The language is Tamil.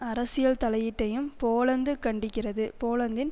அரசியல் தலையீட்டையும் போலந்து கண்டிக்கிறது போலந்தின்